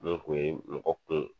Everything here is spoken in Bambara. Min kun ye mɔgɔ kun